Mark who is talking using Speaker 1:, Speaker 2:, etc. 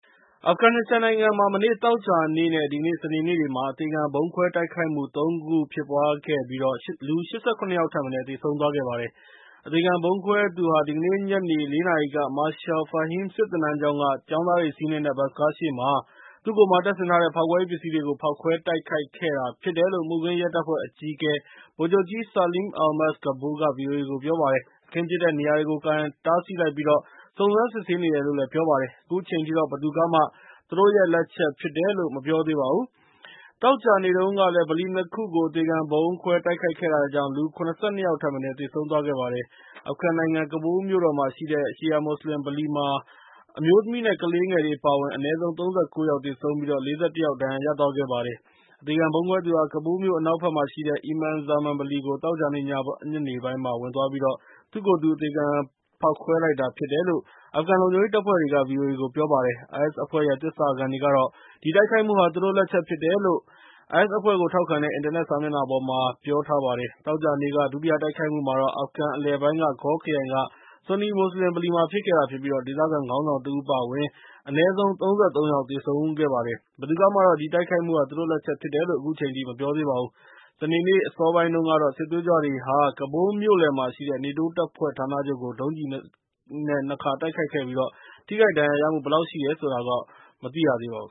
Speaker 1: အာဖဂန်နစ္စတန်နိုင်ငံမှာ မနေ့သောကြာနေ့ နဲ့ ဒီကနေ့ စနေနေ့တွေမှာ အသေခံဗုံးခွဲတိုက်ခိုက်မှုတွေကြောင့် ၈၇ ယောက်ထက်မနည်း သေဆုံးသွားခဲ့ပါတယ်။ အသေခံဗုံးခွဲသူဟာ ဒီကနေ့ညနေ ၄ နာရီက Marshal Fahim စစ်သင်တန်းကျောင်းက ကျောင်းသားတွေစီးနှင်းတဲ့ ဘတ်စ်ကားရှေ့မှာ သူ့ကိုယ်မှာ တပ်ဆင်ထားတဲ့ ဖောက်ခွဲရေးပစ္စည်းတွေကို ဖောက်ခွဲတိုက်ခိုက်ခဲ့တာဖြစ်တယ်လို့ မှုခင်းရဲတပ်ဖွဲ့အကြီးအကဲ ဗိုလ်ချုပ်ကြီး Saleem Almas Kabul က ဗီအိုအေကို ပြောပါတယ်။ အခင်းဖြစ်တဲ့နေရာကို ကာရံတားဆီးလိုက်ပြီး စုံစမ်းစစ်ဆေးနေတယ်လို့ ပြောပါတယ်။ အခုချိန်ထိတော့ ဘယ်သူကမှ သူတို့လက်ချက်ဖြစ်တယ်လို့ မပြောသေးပါဘူး။ သောကြာနေ့တုန်းကလည်း ဗလီ ၂ ခုကို အသေခံဗုံးခွဲတိုက်ခိုက်ခဲ့တာကြောင့် ၇၂ ယောက်ထက်မနည်း သေဆုံးသွားခဲ့ပါတယ်။ အာဖဂန်နိုင်ငံ ကဘူးလ်မြို့တော်မှာရှိတဲ့ ရှီယာမွတ်စလင်ဗလီမှာတော့ အမျိုးသမီးနဲ့ ကလေးတွေအပါအဝင် အနည်းဆုံး ၃၉ ယောက် သေဆုံးပြီး ၄၁ ယောက် ဒဏ်ရာရသွားခဲ့ပါတယ်။ အသေခံဗုံးခွဲသူဟာ ကဘူးလ်မြို့အနောက်ဘက်မှာရှီတဲ့ အီမန်ဇာမန်ဗလီကို သောကြာနေ့ညနေပိုင်းမှာ ဝင်သွားပြီးတော့ ၊ သူ့ကိုယ်သူ အသေခံဗုံးခွဲလိုက်တာဖြစ်တယ်လို့ အာဖဂန်လုံခြုံရေးတပ်ဖွဲ့တွေက ဗီအိုအေကို ပြောပါတယ်။ IS အဖွဲ့ရဲ့ သစ္စာခံတွေကတော့ ဒီတိုက်ခိုက်မှုဟာ သူတို့လက်ချက်လို့ IS အဖွဲ့ကို ထောက်ခံတဲ့ အင်တာနက်စာမျက်နှာပေါ်မှာ ပြောလိုက်ပါတယ်။ သောကြာနေ့က ဒုတိယတိုက်ခိုက်မှုကတော့ အာဖဂန်အလယ်ပိုင်းက Ghor ခရိုင်က ဆူနီမွတ်စလင်ဗလီမှာ ဖြစ်ခဲ့တာဖြစ်ပြီး၊ ဒေသခံခေါင်းဆောင်တဦး အပါအဝင်အနည်းဆုံး ၃၃ ယောက် သေဆုံးသွားခဲ့ပါတယ်။ ဘယ်သူကမှတော့ ဒီတိုက်ခိုက်မှုဟာ သူတို့လက်ချက်ဖြစ်တယ်လို့ အခုချိန်ထိ မပြောသေးပါဘူး စနေနေ့အစောပိုင်းတုန်းကတော့ စစ်သွေးကြွတွေက ကဘူးလ်မြို့လယ်မှာရှိတဲ့ နေတိုးတပ်ဖွဲ့ဌာနချုပ်ကို ဒုံးကျည်နဲ့ ၂ ခါတိုက်ခိုက်ခဲ့ပြီး၊ ထိခိုက်ဒဏ်ရာရရှိမှုဘယ်လောက်ရှိတယ်ဆိုတာတော့ မသိရသေးပါဘူး